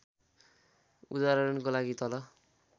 उदाहरणको लागि तल